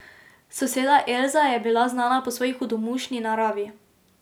Soseda Elza je bila znana po svoji hudomušni naravi.